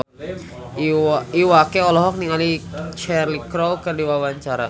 Iwa K olohok ningali Cheryl Crow keur diwawancara